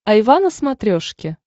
айва на смотрешке